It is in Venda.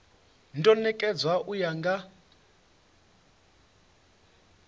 do nekedzwa u ya nga